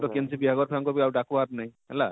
କେନସି ବିହାଘର ଠାନକୁ ଆଉ ଡାକବାର ନେଇଁ